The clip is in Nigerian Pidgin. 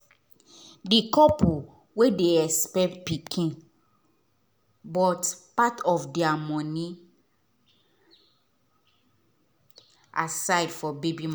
the couple wey dey expect pikin but part of their money aside for baby